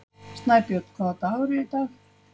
Snæbjörn, hvaða dagur er í dag?